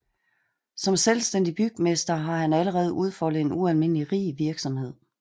Som selvstændig bygmester har han allerede udfoldet en ualmindelig rig virksomhed